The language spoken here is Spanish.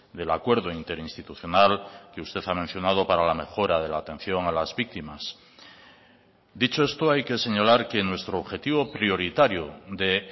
del acuerdo interinstitucional que usted ha mencionado para la mejora de la atención a las víctimas dicho esto hay que señalar que nuestro objetivo prioritario de